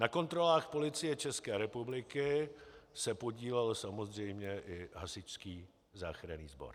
Na kontrolách Policie České republiky se podílel samozřejmě i hasičský záchranný sbor.